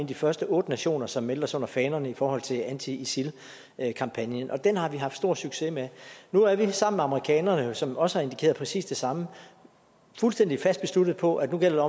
de første otte nationer som meldte sig under fanerne i forhold til anti isil kampagnen og den har vi haft stor succes med nu er vi sammen med amerikanerne som også har indikeret præcis det samme fuldstændig fast besluttet på at nu gælder